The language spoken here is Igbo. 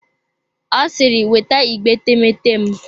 Ọ siri weta igbe etemeete m!